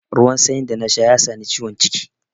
Ruwan sanyin da na sha ya sa ni ciwon ciki.